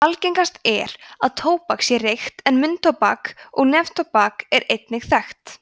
algengast er að tóbak sé reykt en munntóbak og neftóbak eru einnig þekkt